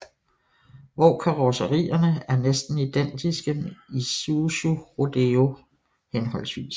Hvor karrosserierne er næsten identiske med Isuzu Rodeo hhv